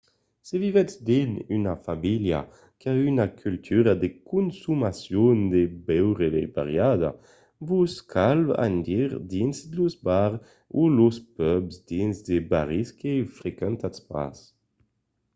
se vivètz dins una vila qu'a una cultura de consomacion de beure variada vos cal anar dins los bars o los pubs dins de barris que frequentatz pas